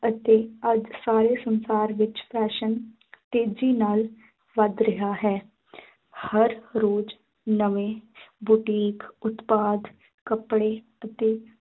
ਅਤੇ ਅੱਜ ਸਾਰੇ ਸੰਸਾਰ ਵਿੱਚ fashion ਤੇਜ਼ੀ ਨਾਲ ਵਧ ਰਿਹਾ ਹੈ ਹਰ ਰੋਜ਼ ਨਵੇਂ ਬੁਟੀਕ ਉਤਪਾਦ ਕੱਪੜੇ ਅਤੇ